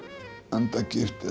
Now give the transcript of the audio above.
andagift